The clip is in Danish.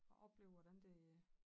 Og opleve hvordan det øh